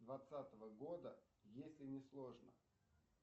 двадцатого года если не сложно